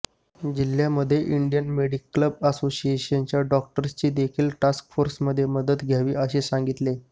जिल्ह्यांमध्ये Indian medical असोसिएशनच्या डॉक्टर्सची देखील टास्क फोर्समध्ये मदत घ्यावी असेही सांगितले